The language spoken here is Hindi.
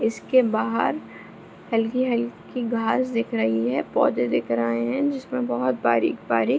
इसके बाहर हल्की-हल्की घास दिख रही है पौधे दिख रहे हैं जिसमें बहोत बारिक-बारिक --